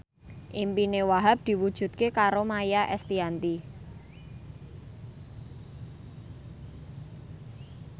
impine Wahhab diwujudke karo Maia Estianty